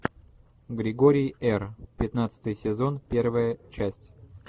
григорий р пятнадцатый сезон первая часть